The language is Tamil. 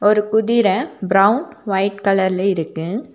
ஒரு குதிரை பிரவுன் ஒயிட் கலர்ல இருக்கு.